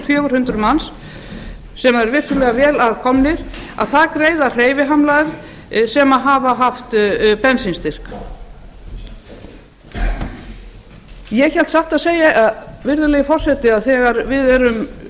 fjögur hundruð manns sem eru vissulega vel að því komnir greiða hreyfihamlaðir sem hafa haft bensínstyrk ég hélt satt að segja virðulegi forseti að þegar við erum